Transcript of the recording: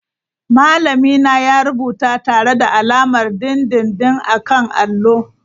Malamina ya rubuta tare da alamar dindindin a kan allo.